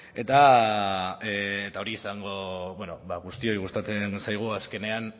eta bueno guztioi gustatzen zaigu azkenean